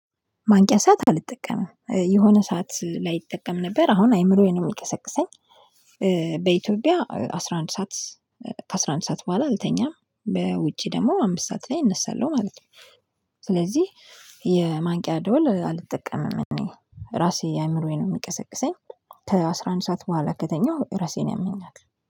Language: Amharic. ማንቂያ ሰዓት አልጠቀምም የሆነ ሰዓት ላይ ይጠቀም ነበር አሁን አይምሮዬን የሚቀሰቅሰኝ በኢትዮጵያ አስራ አንድ ሰዓት ከአስራ አንድ ሰዓት በኋላ አልተኛም በውጪ ደግሞ አምስት ሰዓት ላይ እነሳለሁ ማለት ነው። ስለዚህ የማንቂያ ደወል አልጠቀምም እኔ ራሴ አእምሮዬን ነው የሚቀሰቅሰኝ። ከአስራ አንድ ሰዓት በኋላ ከተኛሁ ራሴን ያመኛል